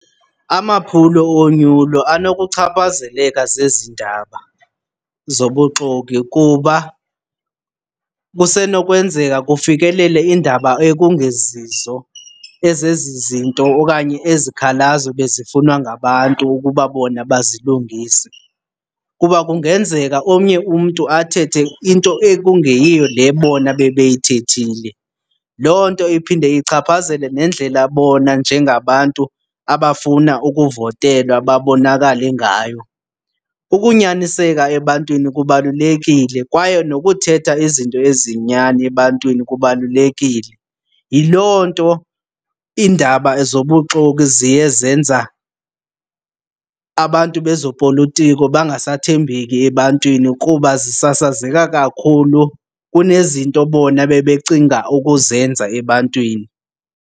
Amaphulo onyulo anokuchaphazeleka zezi ndaba zobuxoki kuba kusenokwenzeka kufikelele iindaba ekungezizo ezezi zinto okanye ezi zikhalazo bezifunwa ngabantu ukuba bona bazilungise. Kuba kungenzeka omnye umntu athethe into ekungeyiyo le bona bebeyaithethile. Loo nto iphinde ichaphazele nendlela bona njengabantu abafuna ukuvotelwa babonakale ngayo. Ukunyaniseka ebantwini kubalulekile kwaye nokuthetha izinto eziyinyani ebantwini kubalulekile. Yiloo nto iindaba zobuxoki ziye zenza abantu bezopolotiko bangasathembeki ebantwini kuba zisasazeka kakhulu kunezinto bona ebebecinga ukuzenza ebantwini.